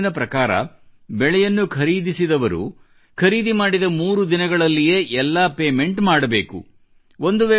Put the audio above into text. ಈ ಕಾನೂನಿನ ಪ್ರಕಾರ ಬೆಳೆಯನ್ನು ಖರೀದಿಸಿದವರು ಖರೀದಿ ಮಾಡಿದ ಮೂರು ದಿನಗಳಲ್ಲಿಯೇ ಎಲ್ಲ ಪೇಮೆಂಟ್ ಮಾಡಬೇಕು